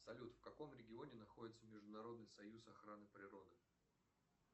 салют в каком регионе находится международный союз охраны природы